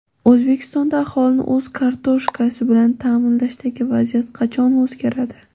O‘zbekistonda aholini o‘z kartoshkasi bilan ta’minlashdagi vaziyat qachon o‘zgaradi?.